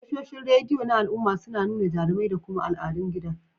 Tashoshin rediyo na al'umma suna nuna jarumai da kuma al'adun gida.